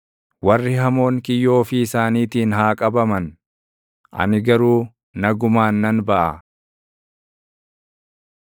Warri hamoon kiyyoo ofii isaaniitiin haa qabaman; ani garuu nagumaan nan baʼa.